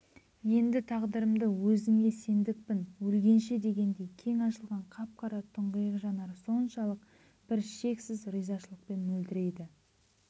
енді тағдырымды өзіңе сендікпін өлгенше дегендей кең ашылған қап-қара тұңғиық жанары соншалық бір шексіз ризашылықпен мөлдірейді